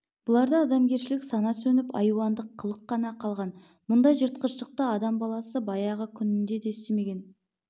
бұларда адамгершілік сана сөніп айуандық қылық қана қалған мұндай жыртқыштықты адам баласы баяғы күнінде де істемеген